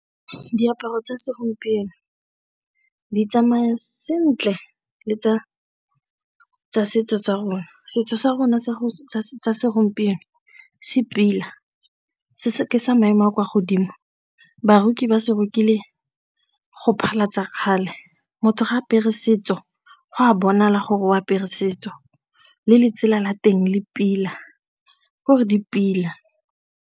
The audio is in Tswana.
Diaparo tsa segompieno di tsamaya sentle le tsa setso tsa rona. Setso sa rona sa segompieno se pila se ke sa maemo a kwa godimo ba re ba se rekile go phatlhalatsa kgale motho ga a apere setso, go a bonala gore o apere setso le letsela la teng le pila gore di pila.